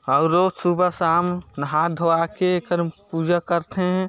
अउ रोज़ सुबह शाम नहा धोवा के एकर पूजा करथें।